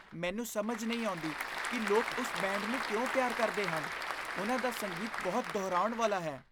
ਮੈਨੂੰ ਸਮਝ ਨਹੀਂ ਆਉਂਦੀ ਕਿ ਲੋਕ ਉਸ ਬੈਂਡ ਨੂੰ ਕਿਉਂ ਪਿਆਰ ਕਰਦੇ ਹਨ। ਉਨ੍ਹਾਂ ਦਾ ਸੰਗੀਤ ਬਹੁਤ ਦੁਹਰਾਉਣ ਵਾਲਾ ਹੈ।